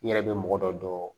I yɛrɛ bɛ mɔgɔ dɔ dɔn